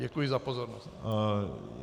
Děkuji za pozornost.